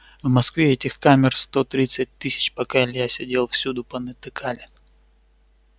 в москве этих камер сто тридцать тысяч пока илья сидел всюду понатыкали